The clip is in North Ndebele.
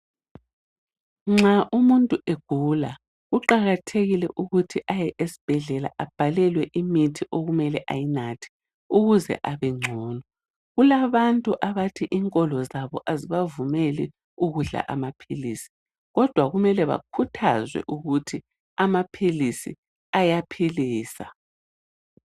Nxa umuntu egula kuqakathekile ukuthi aye esibhedlela abhalelwe imithi okumele ayinathe ukuze abengcono kulabantu abathi inkolo zabo azibavumeli ukudla amaphilisi kodwa kumele bakhuthazwe ukuthi amaphilisi ayaphilisa.